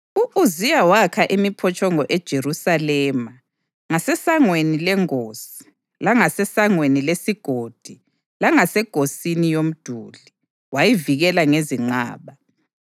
U-Uziya wakha imiphotshongo eJerusalema ngaseSangweni leNgosi langaseSangweni leSigodi langasengosini yomduli, wayivikela ngezinqaba.